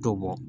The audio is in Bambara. To bɔ